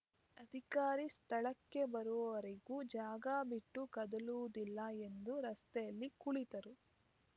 ಅಧಿಕಾರಿ ಸ್ಥಳಕ್ಕೆ ಬರುವವರೆಗೂ ಜಾಗ ಬಿಟ್ಟು ಕದಲುವುದಿಲ್ಲ ಎಂದು ರಸ್ತೆಯಲ್ಲಿ ಕುಳಿತರು